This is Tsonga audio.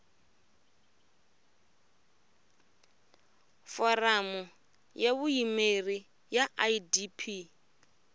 foramu ya vuyimeri ya idp